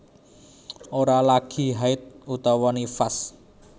Ora lagi haidh utawa nifas